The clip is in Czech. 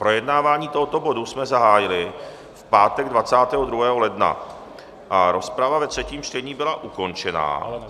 Projednávání tohoto bodu jsme zahájili v pátek 22. ledna a rozprava ve třetím čtení byla ukončena.